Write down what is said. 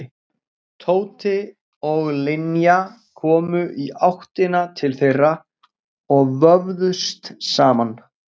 Tóti og Linja komu í áttina til þeirra og vöfðust saman.